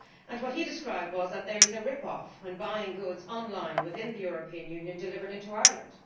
What he described was a rip off' when buying goods online within the European Union delivered into Ireland.